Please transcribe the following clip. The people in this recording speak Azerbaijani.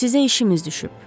Sizə işimiz düşüb.